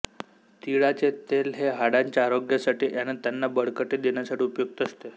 तिळाचे तेल हे हाडांच्या आरोग्यासाठी आणि त्याना बळकटी देण्यासाठी उपयुक्त असते